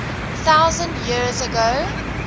thousand years ago